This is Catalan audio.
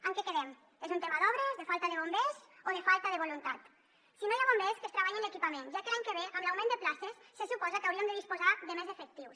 en què quedem és un tema d’obres de falta de bombers o de falta de voluntat si no hi ha bombers que es treballi en l’equipament ja que l’any que ve amb l’augment de places se suposa que hauríem de disposar de més efectius